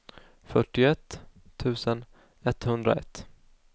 fyrtioett tusen etthundraett